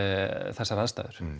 þessar aðstæður